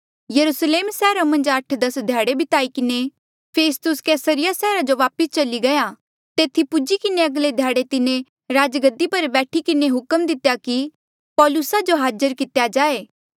यरुस्लेम सैहरा मन्झ आठ दस ध्याड़े बिताई किन्हें फेस्तुस कैसरिया सैहरा जो वापस चली गया तेथी पूजी किन्हें अगले ध्याड़े तिन्हें राजगद्दी पर बैठी किन्हें हुक्म दितेया कि पौलुसा जो हाज़र कितेया जाए